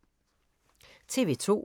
TV 2